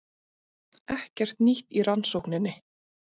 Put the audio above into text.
Ekkert nýtt í rannsókninni